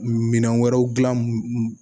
Minɛn wɛrɛw dilan